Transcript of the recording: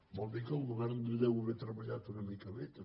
vol dir que el govern deu ha·ver treballat una mica bé també